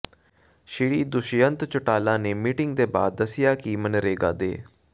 ਸ੍ਰੀ ਦੁਸ਼ਯੰਤ ਚੌਟਾਲਾ ਨੇ ਮੀਟਿੰਗ ਦੇ ਬਾਅਦ ਦਸਿਆ ਕਿ ਮਨਰੇਗਾ ਦੇ